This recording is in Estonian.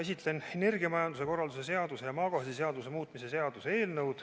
Esitlen energiamajanduse korralduse seaduse ja maagaasiseaduse muutmise seaduse eelnõu.